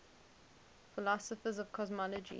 philosophers of cosmology